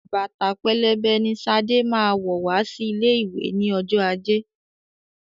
Bàtà pẹlẹbẹ ni Ṣadé máa wọ̀ wá sí ilé ìwé ní ọjọ́ ajé.